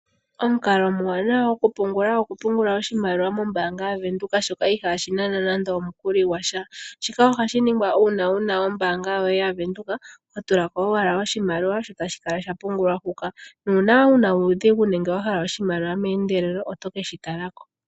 Omukalo omwaanawa gwokupungula oshimaliwa okupungula mombaanga yaVenduka, ndjoka ihayi nana nande omukuli gwasha. Ohashi ningwa unene ngele wuna ombaanga yaVenduka, oho tulako owala oshimaliwa etashi kala shapungulwa hoka. Uuna wuna uudhigu nenge wahala oshimaliwa meendelelo otoyi ashike wu keshitaleko.